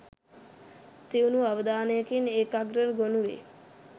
තියුණු අවධානයකින් ඒකාග්‍රව ගොනු වෙයි.